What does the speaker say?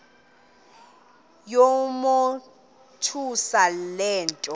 yamothusa le nto